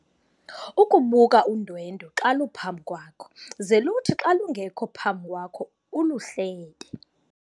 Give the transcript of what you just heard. Ukubuka udwendwe xa luphambi kwakho ze luthi xa lungekho phambi kwakho uluhlebe.